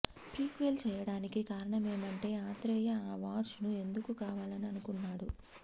prequel చేయడానికి కారణమేమంటే ఆత్రేయ ఆ వాచ్ ను ఎందుకు కావాలని అనుకున్నాడు